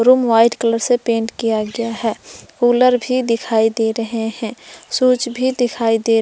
room white colour से paint किया गया है कूलर भी दिखाई दे रहे हैं स्विच भी दिखाई दे रहे--